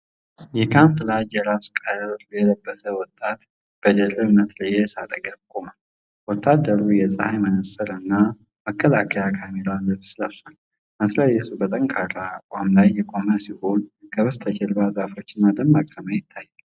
የካሞፍላጅ የራስ ቁር የለበሰ ወጣት በድርብ መትረየስ አጠገብ ቆሟል። ወታደሩ የፀሐይ መነጽርና መከላከያ ካሜራ ልብስ ለብሷል። መትረየሱ በጠንካራ አቋም ላይ የቆመ ሲሆን፣ ከበስተጀርባ ዛፎችና ደማቅ ሰማይ ይታያሉ።